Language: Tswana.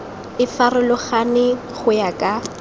e farologane go ya ka